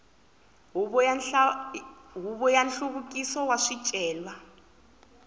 huvo ya nhluvukiso wa swicelwa